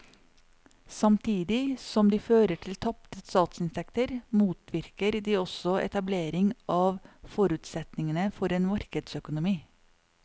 Samtidig som de fører til tapte statsinntekter motvirker de også etablering av forutsetningene for en markedsøkonomi.